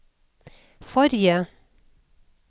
forrige